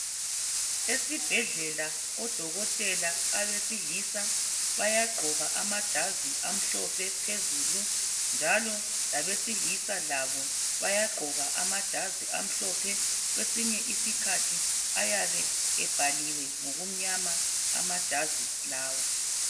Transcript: Esibhedlela odokotela abesilisa bayagqoka amajazi amhlophe phezulu njalo labesilisa labo bayagqoka amajazi amhlophe kwesinye isikhathi ayabe ebhaliwe ngokumnyama amajazi lawa